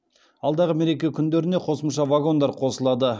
алдағы мереке күндеріне қосымша вагондар қосылады